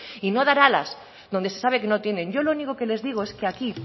y no dar alas donde se sabe que no tienen yo lo único que les digo es que aquí